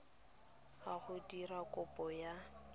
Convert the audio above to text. a go dira kopo ya